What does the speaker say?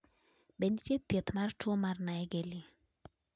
be nitie thieth mar tuo mar naegeli